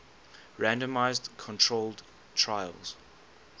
randomized controlled trials